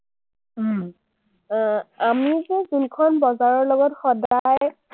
আহ আমি যোনখন বজাৰৰ লগত সদায়